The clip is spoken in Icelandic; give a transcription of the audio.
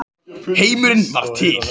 Heimurinn varð til.